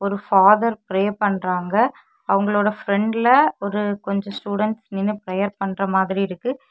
Father prayer பண்றாங்க அவங்களோட ஃப்ரெண்ட்ல ஒரு கொஞ்ச ஸ்டுடென்ட்ஸ் நின்னு பிரேயர் பண்ற மாதிரி இருக்கு.